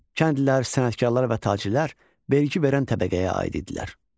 Kəndlilər, sənətkarlar və tacirlər vergi verən təbəqəyə aid idilər.